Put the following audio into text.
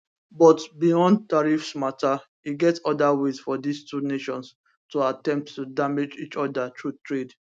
but beyond tariffs mata e get oda ways for dis two nations to attempt to damage each oda through trade